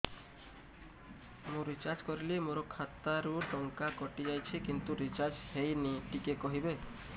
ମୁ ରିଚାର୍ଜ କରିଲି ମୋର ଖାତା ରୁ ଟଙ୍କା କଟି ଯାଇଛି କିନ୍ତୁ ରିଚାର୍ଜ ହେଇନି ଟିକେ କହିବେ